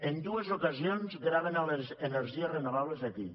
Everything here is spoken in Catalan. en dues ocasions graven les energies renovables aquí